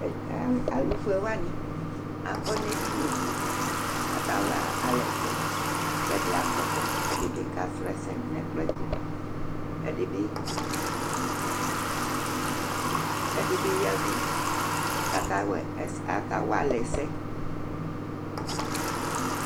Alufʋewani akɔ ŋu ɛɖìní li kʋ aka walɛ ɛsɛ Ɛɖi agbɔkɔ kʋ ɛɖìbi kasrɔsɛ ŋu ɛkplɔɛ tu Ɛɖìbi ya avu kʋ aka walɛ ɛsɛ